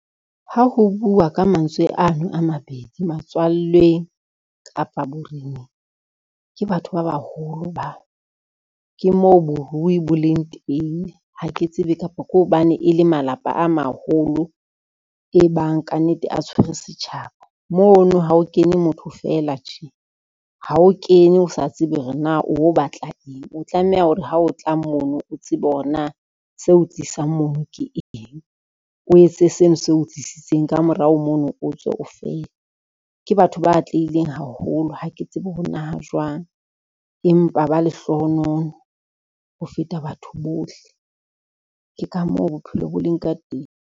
Ha ho bua ka mantswe ano a mabedi matswallweng kapa boreneng, ke batho ba baholo bao. Ke moo borui bo leng teng, ha ke tsebe kapa ke hobane e le malapa a maholo e bang ka nnete a tshwere setjhaba. Mo no ha o kene motho fela tje, ha o kene o sa tsebe hore na o wo batla eng, o tlameha hore ha o tla mo no, o tsebe hore na seo tlisang mo no ke eng o etse seno seo tlisitseng, ka morao mo no o tswe o fele. Ke batho ba atlehileng haholo ha ke tsebe hore na ha jwang, empa ba lehlohonolo ho feta batho bohle. Ke ka moo bophelo bo leng ka teng.